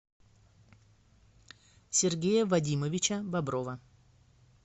сергея вадимовича боброва